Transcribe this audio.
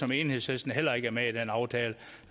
som enhedslisten heller ikke er med i den aftale